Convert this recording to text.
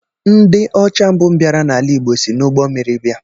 Ndị ọcha mbụ bịara ala Igbo si n'ụgbọ mmiri bia